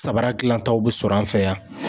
Sabara gilantaw bɛ sɔrɔ an fɛ yan.